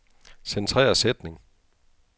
Centrer sætning.